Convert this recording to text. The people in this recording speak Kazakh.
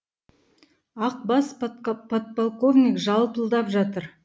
ақ бас подполковник жалпылдап жатыр